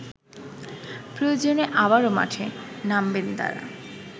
প্রয়োজনে আবারো মাঠে নামবেন তারা